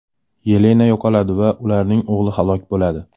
Yelena yo‘qoladi va ularning o‘g‘li halok bo‘ladi.